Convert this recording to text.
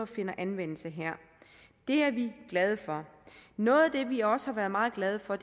finder anvendelse her det er vi glade for noget af det vi også er meget glade for